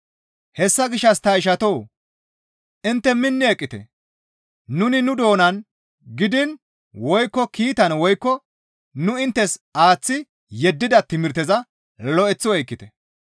Hessa gishshas ta ishatoo! Intte minni eqqite; nuni nu doonan gidiin woykko kiitan woykko nu inttes aaththi yeddida timirteza lo7eththi oykkite.